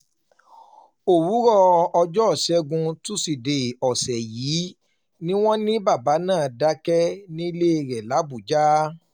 òwúrọ̀ ọjọ́ ìṣẹ́gun tusidee ọ̀sẹ̀ yìí ni wọ́n ní bàbá náà dákẹ́ nílé rẹ̀ làbújá